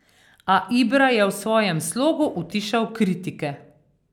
A Ibra je v svojem slogu utišal kritike.